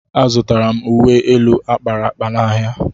Azụtara m uwe elu a kpara akpa n'ahịa